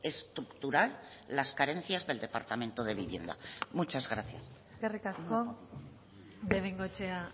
estructural las carencias del departamento de vivienda muchas gracias eskerrik asko de bengoechea